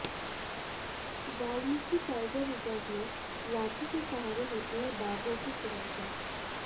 Valmiki tiger reserve में लाठी के सहारे होती है बाघों की सुरक्षा